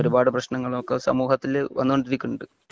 ഒരു പാട് പ്രശ്നങ്ങള് ഒക്കെ സമൂഹത്തില് വന്നോൻഡ് ഇരിക്കുന്ന ഉണ്ട്